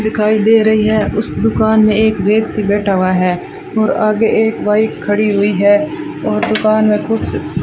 दिखाई दे रही है उस दुकान में एक व्यक्ति बैठा हुआ है और आगे एक बाइक खड़ी हुई है और दुकान में कुछ --